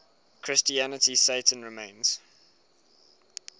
christianity satan remains